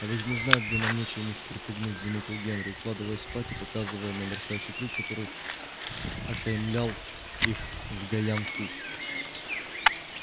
а ведь они знают что нам нечем их припугнуть заметил генри укладываясь спать и показывая на мерцающий круг который окаймлял их сгоян ку